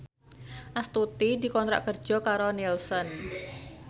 Astuti dikontrak kerja karo Nielsen